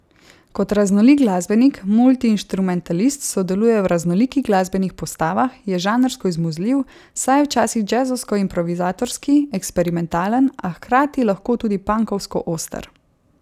Kot raznolik glasbenik, multiinštrumentalist sodeluje v raznolikih glasbenih postavah, je žanrsko izmuzljiv, saj je včasih džezovsko improvizatorski, eksperimentalen, a hkrati lahko tudi pankovsko oster.